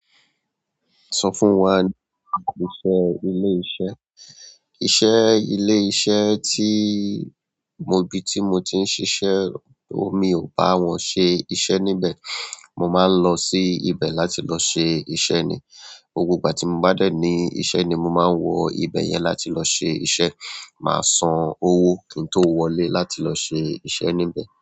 Sọ fún wa ní àkọsẹ́ ilé-iṣẹ́. Iṣẹ́ ilé iṣẹ́ tí mo bi tí mo ti ń ṣiṣẹ́, òmi ò bá wọn ṣe iṣẹ́ níbẹ̀. Mo máa ń lọ sí ibẹ̀ láti lọ ṣe iṣẹ́ ni. Gbogbo ìgbà tí mo bá dẹ̀ ní iṣẹ́ ni mo máa ń wọ ibẹ̀ yẹn láti lọ ṣe iṣẹ́. Máa san owó kí n tó wọlé láti lọ ṣe iṣẹ́ níbẹ̀.